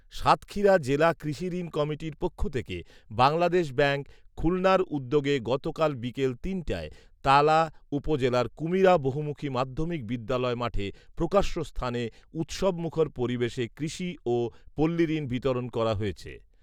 সাতক্ষীরা জেলা কৃষিঋণ কমিটির পক্ষ থেকে বাংলাদেশ ব্যাংক, খুলনার উদ্যোগে গতকাল বিকাল তিনটায় তালা উপজেলার কুমিরা বহুমুখী মাধ্যমিক বিদ্যালয় মাঠে প্রকাশ্যস্থানে উৎসবমুখর পরিবেশে কৃষি ও পল্লীঋণ বিতরণ করা হয়েছে